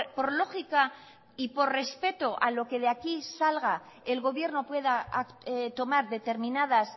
por lógica y por respeto a lo que de aquí salga el gobierno pueda tomar determinadas